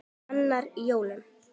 Annar í jólum.